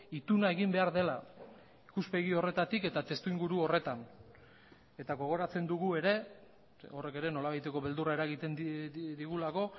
ituna egin behar dela ikuspegi horretatik eta testuinguru horretan eta gogoratzen dugu ere horrek ere nolabaiteko beldurra eragiten digulako